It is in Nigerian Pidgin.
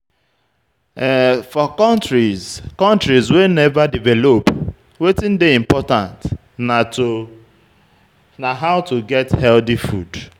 For countries countries wey nova develop, wetin dey important na how to get healthy food